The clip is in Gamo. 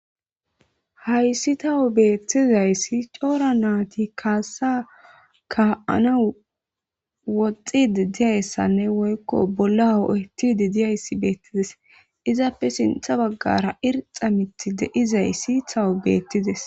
Hayis tawu betizayis coora nayitika ka'anawu woxidi dees woyiko bolla ho'etidi deyisa dizayis betes izape sinitha bagara irixa mithi di'izayis tawu mithay betizes